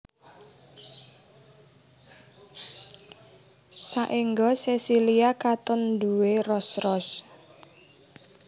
Saéngga sesilia katon nduwé ros ros